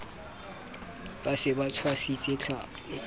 ba se ba tshwasitse tlhapi